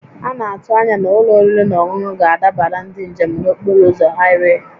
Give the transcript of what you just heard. A na-atụ anya na ụlọ oriri na ọṅụṅụ ga-adabara ndị njem n'okporo ụzọ haịwee